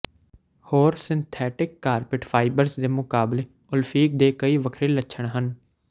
ਹੋਰ synthetic carpet fibres ਦੇ ਮੁਕਾਬਲੇ ਓਲਫਿਨ ਦੇ ਕਈ ਵੱਖਰੇ ਲੱਛਣ ਹਨ